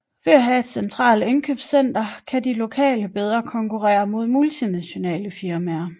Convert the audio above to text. Ved at have et centralt indkøbscenter kan de lokale bedre konkurrere mod multinationale firmaer